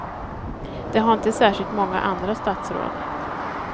Det har inte särskilt många andra statsråd.